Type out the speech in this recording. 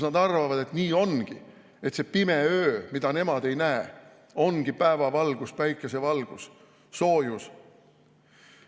Nad arvavad, et nii ongi, et see pime öö, mida nemad ei näe, ongi päevavalgus, päikesevalgus, soojus.